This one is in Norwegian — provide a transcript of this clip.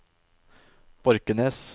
Borkenes